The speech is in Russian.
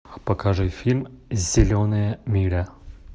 покажи фильм зеленая миля